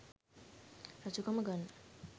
රජ කම ගන්න